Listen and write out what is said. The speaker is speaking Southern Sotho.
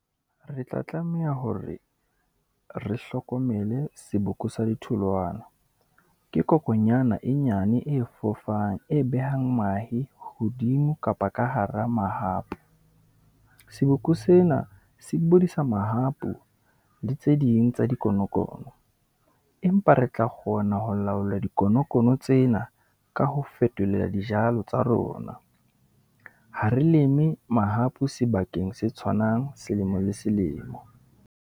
Re tla tlameha hore re hlokomele seboko sa di tholwana, ke kokonyana e nyane e fofang, e behang mahe hodimo kapa ka hara mahapu. Seboko sena se bodisa mahapu le tse ding tsa di konokono, empa re tla kgona ho laola di konokono tsena, ka ho fetolela dijalo tsa rona. Ha re leme mahapu sebakeng se tshwanang, selemo le selemo.